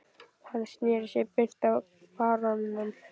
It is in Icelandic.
Hann sneri sér beint að baróninum